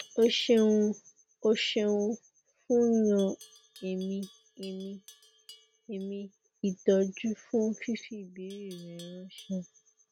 o ṣeun o ṣeun fun yan ẹmí ẹmí ẹmí ìtọjú fún fífi ìbéèrè rẹ ránṣẹ